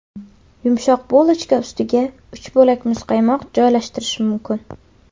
Yumshoq bulochka ustiga uch bo‘lak muzqaymoq joylashtirish mumkin.